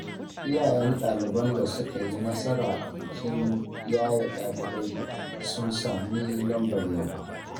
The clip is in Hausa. Iyayen ɗaliban da suka yi nasara a bikin yaye ɗaliabai sun sami lambar yabo.